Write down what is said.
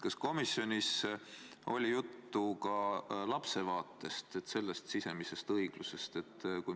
Kas komisjonis oli juttu ka laste õiglasest kohtlemisest?